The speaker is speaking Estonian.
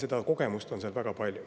Seda kogemust on seal väga palju.